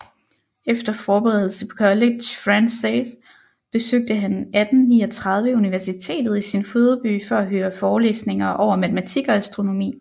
Efter forberedelse på College Français besøgte han 1839 universitetet i sin fødeby for at høre forelæsninger over matematik og astronomi